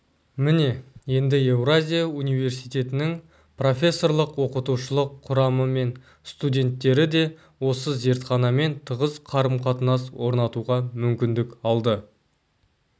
міне енді еуразия университетінің профессорлық-оқытушылық құрамы мен студенттері де осы зертханамен тығыз қарым-қатынас орнатуға мүмкіндік алып